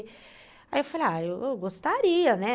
Aí eu falei, ah, eu gostaria, né?